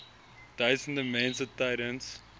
duisende mense tydens